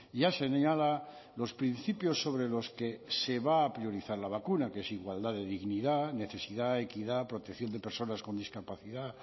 ya señala los principios sobre los que se va a priorizar la vacuna que es igualdad de dignidad necesidad equidad protección de personas con discapacidad